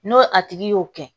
N'o a tigi y'o kɛ